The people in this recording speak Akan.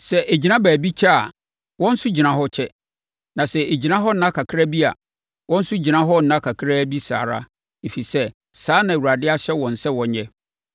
Sɛ ɛgyina baabi kyɛ a, wɔn nso gyina hɔ kyɛ. Na sɛ ɛgyina hɔ nna kakra bi a, wɔn nso gyina hɔ nna kakra bi saa ara, ɛfiri sɛ, saa na Awurade ahyɛ wɔn sɛ wɔnyɛ.